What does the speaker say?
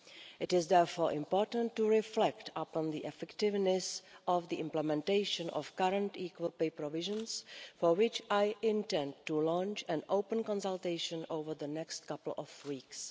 It is therefore important to reflect upon the effectiveness of the implementation of the current equal pay provisions, for which I intend to launch an open consultation over the next couple of weeks.